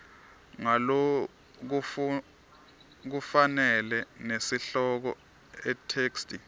ngalokufanele nesihloko itheksthi